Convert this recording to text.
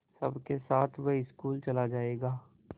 सबके साथ वह स्कूल चला जायेगा